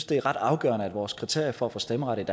det er ret afgørende at vores kriterier for at få stemmeret